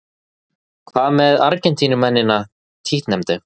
Hvað með Argentínumennina títtnefndu?